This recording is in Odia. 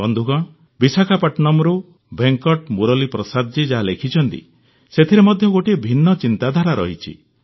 ବନ୍ଧୁଗଣ ବିଶାଖାପଟନମ୍ରୁ ଭେଙ୍କଟ ମୁରଲିପ୍ରସାଦଜୀ ଯାହା ଲେଖିଛନ୍ତି ସେଥିରେ ମଧ୍ୟ ଗୋଟିଏ ଭିନ୍ନ ଚିନ୍ତାଧାରା ରହିଛି